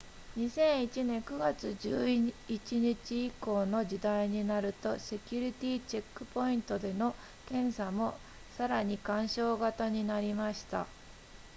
2001年9月11日以降の時代になるとセキュリティチェックポイントでの検査もさらに干渉型になりました